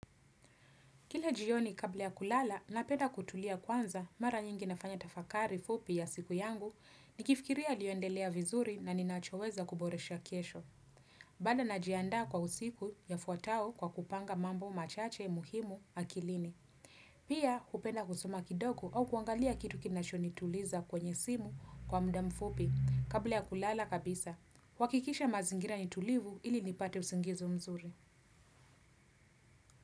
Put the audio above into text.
Kila jioni kabla ya kulala, napenda kutulia kwanza mara nyingi nafanya tafakari fupi ya siku yangu, nikifikiria yaliyoendelea vizuri na ninachoweza kuboresha kesho. Bado najianda kwa usiku yafuatao kwa kupanga mambo machache muhimu akilini. Pia hupenda kusoma kidogo au kuangalia kitu kinachonituliza kwenye simu kwa muda mfupi kabla ya kulala kabisa. Huakikisha mazingira ni tulivu ili nipate usingizi mzuri.